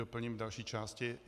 Doplním v další části.